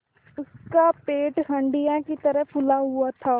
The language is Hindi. उसका पेट हंडिया की तरह फूला हुआ था